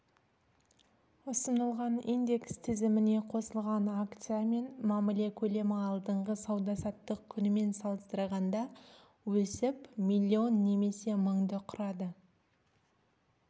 ұсынылған индекс тізіміне қосылған акциямен мәміле көлемі алдыңғы сауда-саттық күнімен салыстырғанда өсіп миллион немесе мыңды құрады